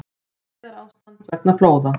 Neyðarástand vegna flóða